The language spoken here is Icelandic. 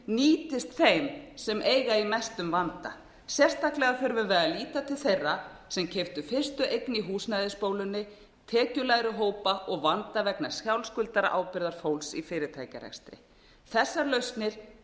nýtist þeim sem eiga í mestum vanda sérstaklega þurfum við að líta til þeirra sem keyptu fyrstu eign í húsnæðisbólunni tekjulægri hópa og vanda vegna sjálfsskuldarábyrgðar fólks í fyrirtækjarekstri þessar lausnir